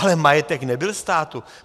Ale majetek nebyl státu.